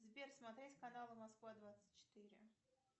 сбер смотреть каналы москва двадцать четыре